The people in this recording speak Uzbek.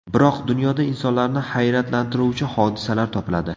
Biroq dunyoda insonlarni hayratlantiruvchi hodisalar topiladi.